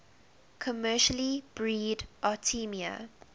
commercially breed artemia